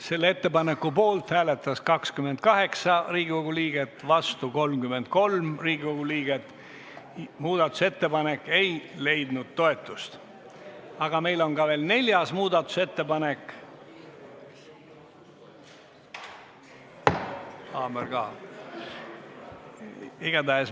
Selle ettepaneku poolt hääletas 28 Riigikogu liiget, vastu oli 33 Riigikogu liiget.